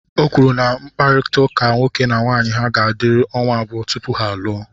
O kwuru na mkpakọrịta nwoke na nwaanyị ha ga-adịru ọnwa abụọ tupu ha alụọ